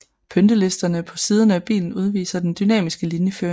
Pyntelisterne på siderne af bilen udviser den dynamiske linjeføring